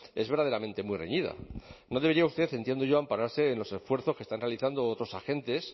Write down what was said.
es verdaderamente muy reñida no debería usted entiendo yo ampararse en los esfuerzos que están realizando otros agentes